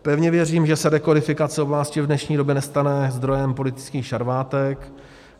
Pevně věřím, že se rekodifikace oblasti v dnešní době nestane zdrojem politických šarvátek.